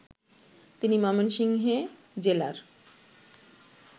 তিনি ময়মনসিংহে জেলার